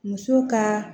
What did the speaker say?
Muso ka